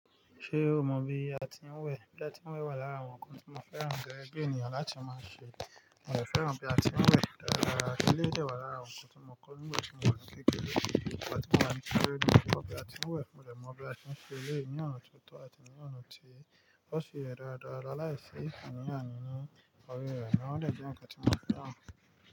Ṣé o mọ bí a ti ń wẹ̀? Bí a ti ń wẹ̀ wà lára àwọn nǹkan tí mo fẹ́ran gege bi ènìyàn láti máa ṣe. Èmi fẹ́ran bí a ti ń wẹ̀ dáradára. Eleyii de wà lára awon ǹkan tí mo kọ́ nígbà tí mo wà ní kékeré. Ìgbà tí mo wà ní kékeré ni mo ti kọ bí a ti ń wẹ̀ mọ dẹ̀ mọ bí a ti ń ṣe èléyìí ní ọ̀nà ti tọ́ àti ní ọ̀nà tí ó sì yẹ dáadáa laláìsí àní àní ní orí rẹ̀ náà ẹ dẹ̀ jẹ́ nǹkan tí mo fẹ́ràn.